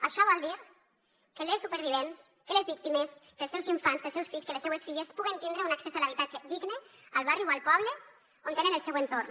això vol dir que les supervivents que les víctimes que els seus infants que els seus fills que les seues filles puguen tindre un accés a l’habitatge digne al barri o al poble on tenen el seu entorn